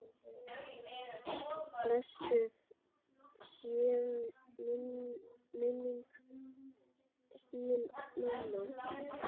Blessuð sé minning þín mamma.